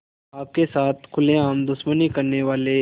आपके साथ खुलेआम दुश्मनी करने वाले